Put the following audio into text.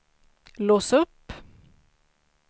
lås upp